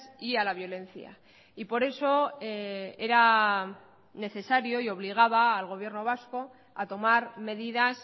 y a la violencia y por eso era necesario y obligaba al gobierno vasco a tomar medidas